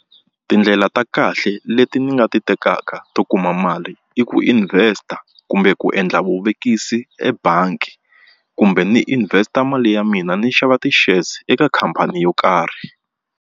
Tindlela ta kahle leti ni nga ti tekaka to kuma mali i ku invest-a kumbe ku endla vuvekisi ebangi kumbe ni invest-a mali ya mina ni xava ti-shares eka khamphani yo karhi.